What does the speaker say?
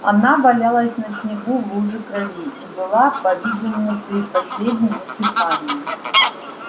она валялась на снегу в луже крови и была по видимому при последнем издыхании